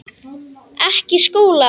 Ekki Skúla!